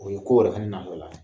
O ye ko wɛrɛ fɛnɛ natɔ la ye.